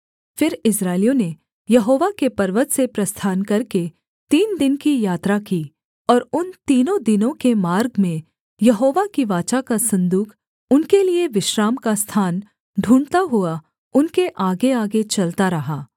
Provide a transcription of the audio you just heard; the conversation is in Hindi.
फिर इस्राएलियों ने यहोवा के पर्वत से प्रस्थान करके तीन दिन की यात्रा की और उन तीनों दिनों के मार्ग में यहोवा की वाचा का सन्दूक उनके लिये विश्राम का स्थान ढूँढ़ता हुआ उनके आगेआगे चलता रहा